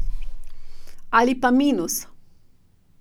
Ali pa minus.